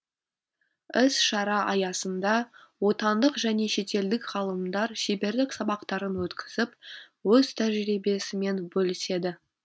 іс шара аясында отандық және шетелдік ғалымдар шеберлік сабақтарын өткізіп өз тәжірибесімен бөліседі